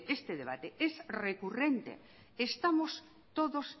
este debate es recurrente estamos todos